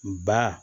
Ba